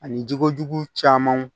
Ani jikojugu camanw